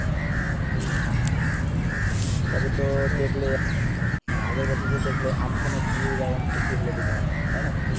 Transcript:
তবে তো ওটাই দেখলে আগের বছর তো দেখলে আমফানে কিরকম ক্ষতিহলো দিঘার তাইনা